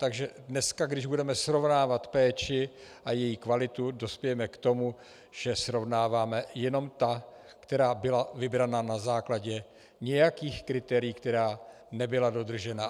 Takže dneska, když budeme srovnávat péči a její kvalitu, dospějeme k tomu, že srovnáváme jenom ta, která byla vybrána na základě nějakých kritérií, která nebyla dodržena.